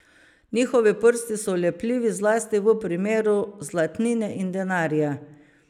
Njihovi prsti so lepljivi zlasti v primeru zlatnine in denarja.